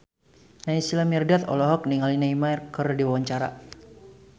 Naysila Mirdad olohok ningali Neymar keur diwawancara